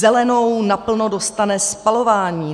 Zelenou naplno dostane spalování.